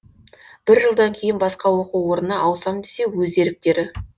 бір жылдан кейін басқа оқу орнына ауысам десе өз еріктері